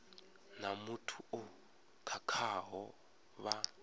na muthu o khakhaho vha